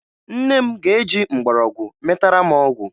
Nne m ga-eji mgbọrọgwụ metara m ọgwụ